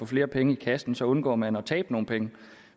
flere penge i kassen så undgår man at tabe nogle penge